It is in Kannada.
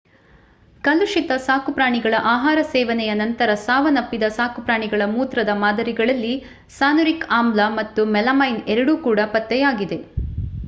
ಕಲುಷಿತ ಸಾಕುಪ್ರಾಣಿಗಳ ಆಹಾರ ಸೇವನೆಯ ನಂತರ ಸಾವನ್ನಪ್ಪಿದ ಸಾಕುಪ್ರಾಣಿಗಳ ಮೂತ್ರದ ಮಾದರಿಗಳಲ್ಲಿ ಸಾನುರಿಕ್ ಆಮ್ಲ ಮತ್ತು ಮೆಲಮೈನ್ ಎರಡೂ ಕೂಡ ಪತ್ತೆಯಾಗಿದೆ